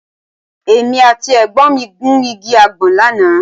Èmi àti ẹ̀gbọ́n mi gun igi àgbọn lánàá